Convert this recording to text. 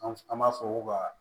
An an b'a fɔ ko ka